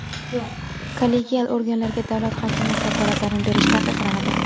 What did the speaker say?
Kollegial organlarga davlat-hokimiyat vakolatlarini berish taqiqlanadi.